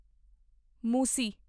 ਮੁਸੀ